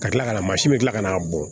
Ka kila ka na mansin bɛ kila ka na bɔn